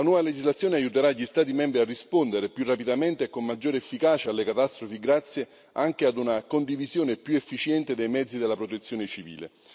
La nuova legislazione aiuterà gli Stati membri a rispondere più rapidamente e con maggiore efficacia alle catastrofi, grazie anche ad una condivisione più efficiente dei mezzi della protezione civile.